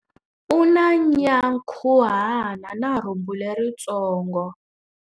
U na nyankhuhana na rhumbu leritsongo.